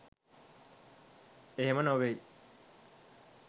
එහෙම නොවෙයි